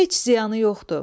Heç ziyanı yoxdur.